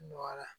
Nɔgɔyara